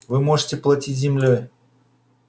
вы можете платить землёй